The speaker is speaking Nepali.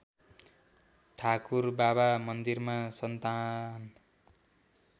ठाकुरबाबा मन्दिरमा सन्तान